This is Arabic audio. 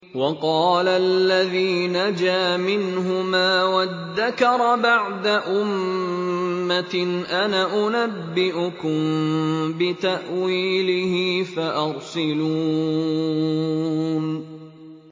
وَقَالَ الَّذِي نَجَا مِنْهُمَا وَادَّكَرَ بَعْدَ أُمَّةٍ أَنَا أُنَبِّئُكُم بِتَأْوِيلِهِ فَأَرْسِلُونِ